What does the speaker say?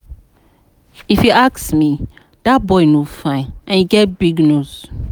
If you ask me dat boy no fine and e get big nose